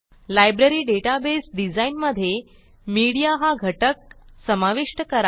library database design मधे media हा घटक समाविष्ट करा